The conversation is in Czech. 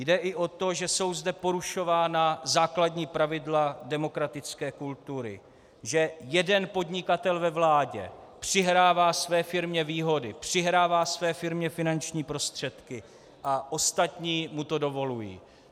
Jde i o to, že jsou zde porušována základní pravidla demokratické kultury, že jeden podnikatel ve vládě přihrává své firmě výhody, přihrává své firmě finanční prostředky a ostatní mu to dovolují.